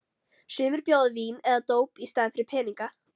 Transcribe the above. Sumir bjóða vín eða dóp í staðinn fyrir peninga.